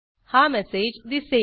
हा मेसेज दिसेल